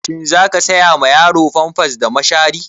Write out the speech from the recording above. Shin za ka saya ma yaro famfas da mashari?